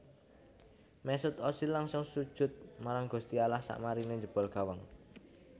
Mesut Ozil langsung sujud marang gusti Allah sakmarine njebol gawang